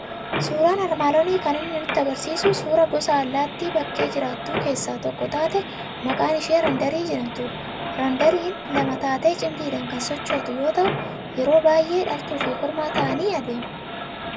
Suuraan armaan olii kan inni nutti argisiisu suuraa gosa allaattii bakkee jiraattu keessaa tokko taate maqaan ishee randarii jedhamtudha. Randariin lama taatee cimdiidhaan kan sochootu yoo ta'u, yeroo baay'ee dhaltuu fi kormaa ta'anii adeemu.